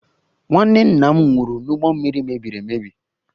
Nwanne nna m nwụrụ n'ụgbọ mmiri mebiri emebi